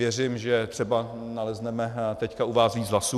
Věřím, že třeba nalezneme teď u vás více hlasů.